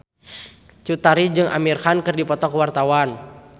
Cut Tari jeung Amir Khan keur dipoto ku wartawan